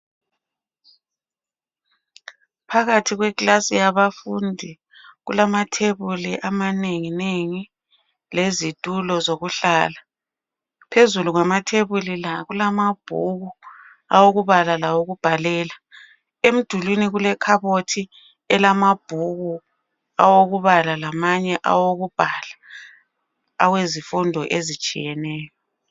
Phakathi kwekilasi yabafundi kulamathebuli amanenginengi lezitulo zokuhlala. Phezulu kwamathebuli la, kulamabhuku okubala lawokubhalela. Emdulwini kule khabothi elamabhuku awokubala lamanye awokubhala awezifundo ezitshiyeneyo.